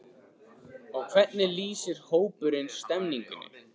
Og hvernig lýsir hópurinn stemningunni?